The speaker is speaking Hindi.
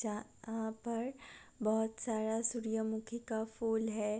आ पर बहुत सारा सूर्यमुखी का फूल है ।